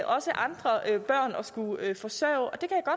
også andre børn at skulle forsørge